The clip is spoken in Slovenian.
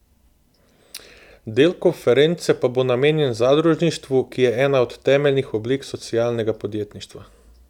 Del konference pa bo namenjen zadružništvu, ki je ena od temeljnih oblik socialnega podjetništva.